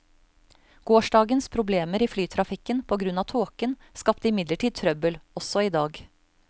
Gårsdagens problemer i flytrafikken på grunn av tåken skapte imidlertid trøbbel også i dag.